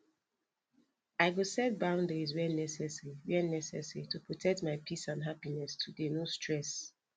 i go set boundaries where necessary where necessary to protect my peace and happiness today no stress